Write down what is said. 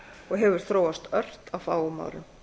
og hefur þróast ört á fáum árum